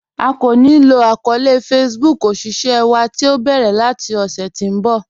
A kìí yóò lò àkọọlẹ̀ Facebook òṣìṣẹ̀ wa tí o bẹ́rẹ̀ lati ọṣẹ̀ tí n bọ̀